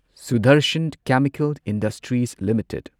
Sudarshan chemical industries limited